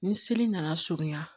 Ni seli nana surunya